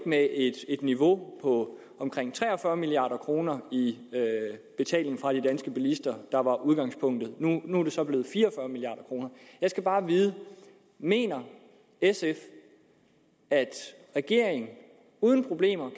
niveau på omkring tre og fyrre milliard kroner i betaling fra de danske bilister der var udgangspunktet nu er det så blevet fire og fyrre milliard kroner jeg skal bare vide mener sf at regeringen uden problemer